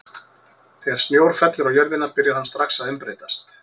Þegar snjór fellur á jörðina byrjar hann strax að umbreytast.